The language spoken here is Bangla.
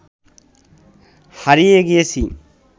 হারিয়ে গিয়েছি